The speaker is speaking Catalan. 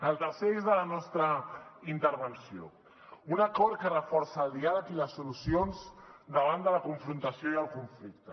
el tercer eix de la nostra intervenció un acord que reforça el diàleg i les solucions davant de la confrontació i el conflicte